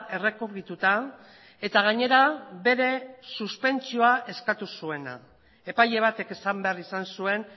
errekurrituta eta gainera bere suspentsioa eskatu zuena epaile batek esan behar izan zuen